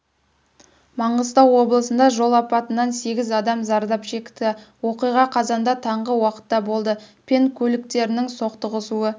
маңғыстау облысында жол апатынан сегіз адам зардап шекті оқиға қазанда таңғы уақытта болды пен көліктерінің соқтығысу